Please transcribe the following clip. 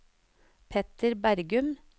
Petter Bergum